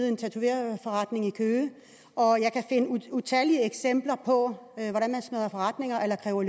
i en tatoveringsforretning nede i køge og jeg kan utallige eksempler på hvordan man smadrer forretninger eller kræver